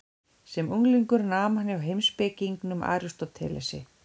Sem unglingur nam hann hjá heimspekingnum Aristótelesi.